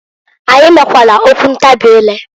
Anyị mekwalụ okwu ntabị ire.